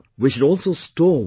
We should also store water